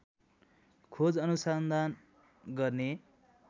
खोज अनुसन्धान गर्ने